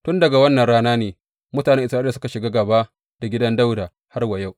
Tun daga wannan ranar ne mutanen Isra’ila suka shiga gāba da gidan Dawuda har wa yau.